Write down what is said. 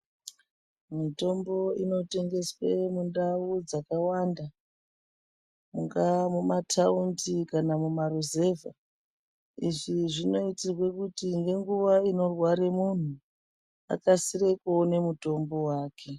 Mitombo inotengeswe mundau dzakawanda kunga mumataundi kana mumaruzevha izvi zvinoitirwe kuti ngenguwa inorware munhu akasire kuone mutombo wake.